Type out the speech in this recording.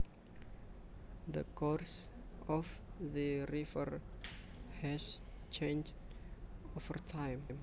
The course of the river has changed over time